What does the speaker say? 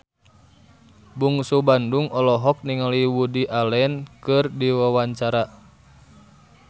Bungsu Bandung olohok ningali Woody Allen keur diwawancara